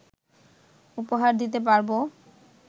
উপহার দিতে পারবো